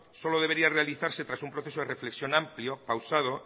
solo debería realizarse tras un proceso de reflexión amplio pausado